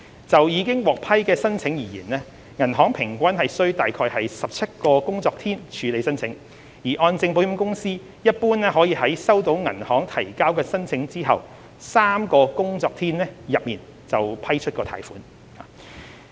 就已獲批的申請而言，銀行平均需約17個工作天處理申請，而按證保險公司一般可在收到銀行提交申請後3個工作天內批出貸款。